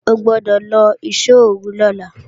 O gbọ́dọ̀ lọ ìṣóòru lọ́la!